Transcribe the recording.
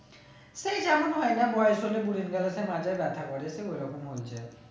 সেই যেমন হয়ে না বয়েস হলে মাঝে ব্যাথা করে সেই ওই রকম হয়েছে